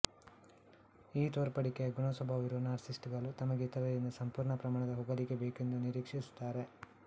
ಈ ತೋರ್ಪಡಿಯಕೆ ಗುಣಸ್ವಭಾವ ಇರುವ ನಾರ್ಸಿಸಿಸ್ಟ್ ಗಳು ತಮಗೆ ಇತರರಿಂದ ಸಂಪೂರ್ಣ ಪ್ರಮಾಣದ ಹೊಗಳಿಕೆ ಬೇಕೆಂದು ನಿರೀಕ್ಷಿಸುತ್ತಾರೆ